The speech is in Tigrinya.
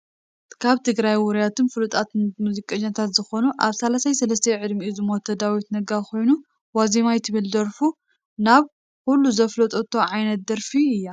ካብ ትግራይ ውሩያትን ፉሉጣት ሙዝቀኛታት ዝኮኑ ኣብ 33 ዕድሚኡ ዝሞተ ዳዊት ነጋ ኮይኑ ወዛመይ ትብል ደርፉ ናብ ኩሉ ዘፋለጠቶ ዓይነት ደርፊ እያ።